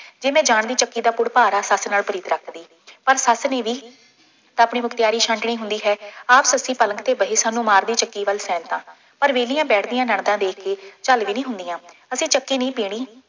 ਜੇ ਮੈਂ ਜਾਣਦੀ ਚੱਕੀ ਦਾ ਪੁੜਕਾੜਾ, ਸੱਸ ਨਾਲ ਪ੍ਰੀਤ ਰੱਖਦੀ, ਪਰ ਸੱਸ ਨੇ ਵੀ ਤਾਂ ਆਪਣੀ ਮੁਖਤਿਆਰੀ ਛਾਂਟਣੀ ਹੁੰਦੀ ਹੈ। ਆਹ ਸੱਸੇ ਪਲਕ ਤੇ ਬਹਿ ਸਾਨੂੰ ਮਾਰਦੀ ਚੱਕੀ ਵੱਲ ਸ਼ੈਂਤਾਂ, ਪਰ ਵਿਹਲੀਆਂ ਬੈਠਦੀਆਂ ਨਨਦਾਂ ਦੇਖ ਕੇ ਝੱਲ ਵੀ ਨਹੀਂ ਹੁੰਦੀਆਂ, ਅਸੀਂ ਚੱਕੀ ਨਹੀਂ ਪੀਹਣੀ